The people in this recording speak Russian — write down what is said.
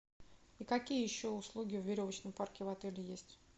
и какие еще услуги в веревочном парке в отеле есть